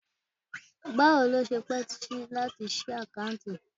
Bawo lo se pe si lati si akanti?